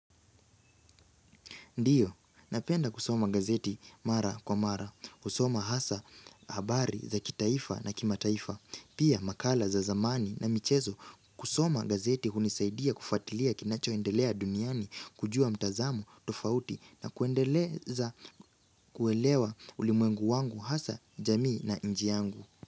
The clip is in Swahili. Ndiyo, napenda kusoma gazeti mara kwa mara, kusoma hasa habari za kitaifa na kimataifa, pia makala za zamani na michezo. Kusoma gazeti hunisaidia kufuatilia kinachoendelea duniani kujua mtazamo tofauti na kuendeleza kuelewa ulimwengu wangu hasa jamii na nji yangu.